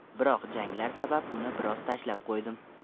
Biroq janglar sabab uni biroz tashlab qo‘ydim.